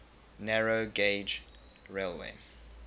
narrow gauge railway